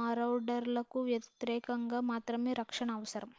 మారౌడర్లకు వ్యతిరేకంగా మాత్రమే రక్షణ అవసరం